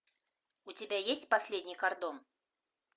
у тебя есть последний кордон